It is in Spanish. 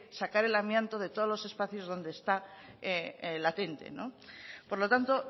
sacar al amianto de todos los espacios donde está latente por lo tanto